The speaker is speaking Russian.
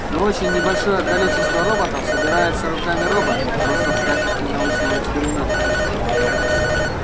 но очень небольшое количество роботов собирается руками роботов просто в качестве научного эксперимента